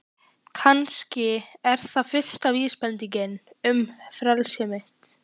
Kannski er það fyrsta vísbendingin um frelsi mitt.